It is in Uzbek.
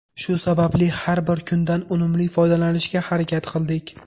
Shu sababli har bir kundan unumli foydalanishga harakat qildik.